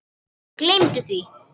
Gleymdu því!